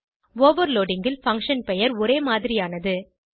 overloading ல் function பெயர் ஒரே மாதிரியானது